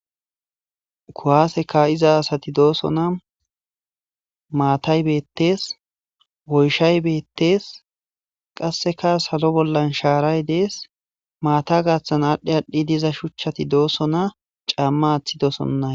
kuwaaseka iza asati doosona maatay beettees woyshay beettees qasseka salo bollan shaaray dees maata gaaththan aadhdhe aadhdhi diza shuchchati doosona caamma aaththi doosonna